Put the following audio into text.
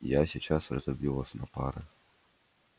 я сейчас разобью вас на пары